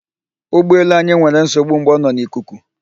Ụgbọ elu anyị nwere nsogbu mgbe ọ nọ n'ikuku